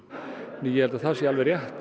ég held að þetta sé alveg rétt